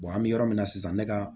an bɛ yɔrɔ min na sisan ne ka